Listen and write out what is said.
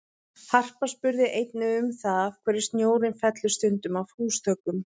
Harpa spurði einnig um það af hverju snjórinn fellur stundum af húsþökum?